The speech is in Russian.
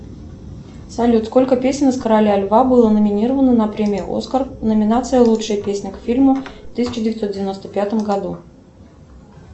салют сколько песен из короля льва было номинировано на премию оскар номинация лучшая песня к фильму в тысяча девятьсот девяносто пятом году